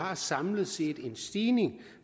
har samlet set en stigning